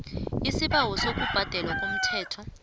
isibawo sokubhadelwa komthelo